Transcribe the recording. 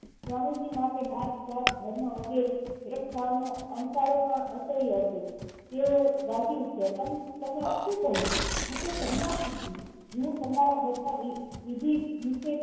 સ્વામીજી માટે નેટ જાત ધર્મ વગેરે ભેદભાવ નો અણસારો પણ અસહ્ય હતો તેઓ દાજી ઉઠ્યા તમે આ સુ કહ્યું હું તો સન્યાસી છું હું તમારા બધા વિધિ વિષે